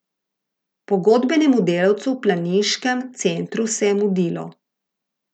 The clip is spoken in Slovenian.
Pogodbenemu delavcu v planiškem centru se je mudilo.